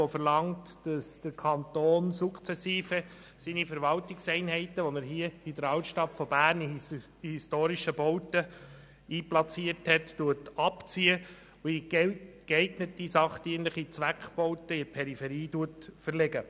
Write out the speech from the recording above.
Dieser verlangt, dass der Kanton seine Verwaltungseinheiten sukzessive aus den historischen Bauten der Berner Altstadt abzieht und in geeignete, sachdienliche Zweckbauten in der Peripherie verlegt.